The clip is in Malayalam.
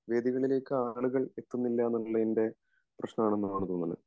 വേദികളിലേക്ക് ആളുകൾ എത്തുന്നില്ല എന്നുള്ളതിന്റെ പ്രശ്നം ആണെന്നാണ് തോന്നുന്നത്